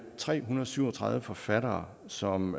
tre hundrede og syv og tredive forfattere som